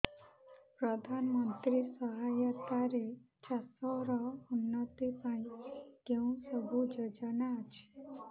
ପ୍ରଧାନମନ୍ତ୍ରୀ ସହାୟତା ରେ ଚାଷ ର ଉନ୍ନତି ପାଇଁ କେଉଁ ସବୁ ଯୋଜନା ଅଛି